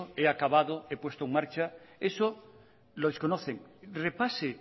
el he acabado he puesto en marcha eso lo desconocen repase